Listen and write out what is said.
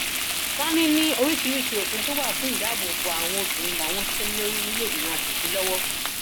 sànnì ní oríṣiríṣiì òfin tó wà fún dídáàbò bo àwọn obìnrin làwọn ń ṣiṣẹ lé lórí nílẹẹgbìmọ asòfin lọwọ